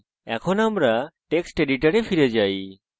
আমাদের text editor ফিরে যাওয়া যাক